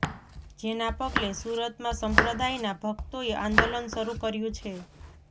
જેના પગલે સુરતમાં સંપ્રદાયના ભક્તોએ આંદોલન શરૂ કર્યું છે